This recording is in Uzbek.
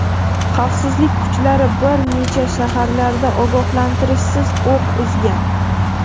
xavfsizlik kuchlari bir necha shaharlarda ogohlantirishsiz o‘q uzgan.